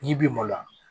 N'i b'i maloya